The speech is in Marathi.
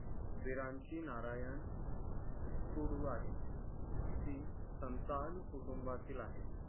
वीरांची नारायण टूडू आहे ती संतान कुटुंबातील आहे